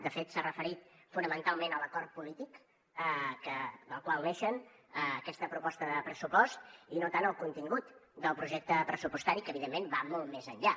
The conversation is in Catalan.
de fet s’ha referit fonamentalment a l’acord polític del qual neix aquesta proposta de pressupost i no tant al contingut del projecte pressupostari que evidentment va molt més enllà